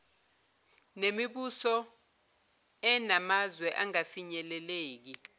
nemibuso enamazwe angafinyeleleki